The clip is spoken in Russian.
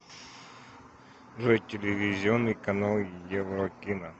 джой телевизионный канал еврокино